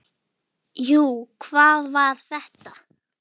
Jú, hvað var þetta?